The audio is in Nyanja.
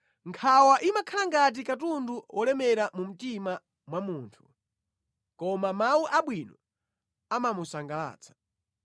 Nkhawa imakhala ngati katundu wolemera mu mtima mwa munthu, koma mawu abwino amamusangalatsa.